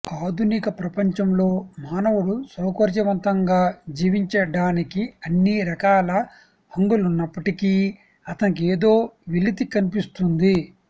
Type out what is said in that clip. ఆధునిక ప్రపంచంలో మానవుడు సౌకర్యవంతంగా జీవించ డానికి అన్నిరకాల హంగులున్నప్పటికీ అతనికేదో వెలితి కన్పిస్తుంది